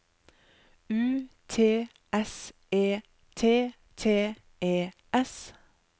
U T S E T T E S